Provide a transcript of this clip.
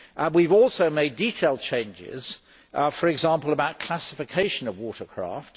We have also made detailed changes, for example about classification of water craft